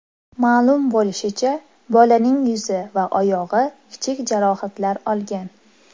Ma’lum bo‘lishicha, bolaning yuzi va oyog‘i kichik jarohatlar olgan.